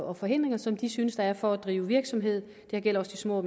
og forhindringer som de synes der er for at drive virksomhed det gælder også de små og